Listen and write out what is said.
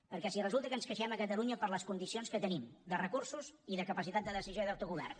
perquè si resulta que ens queixem a catalunya per les condicions que tenim de recursos i de capacitat de decisió i d’autogovern